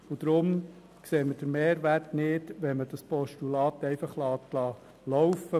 Deshalb sehen wir den Mehrwert nicht, wenn man das Postulat einfach laufen lässt.